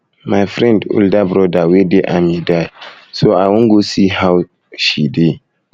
my friend older broda wey dey army die so i so i wan go um see how she dey